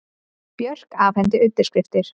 Björk afhenti undirskriftir